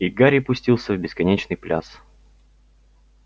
и гарри пустился в бесконечный пляс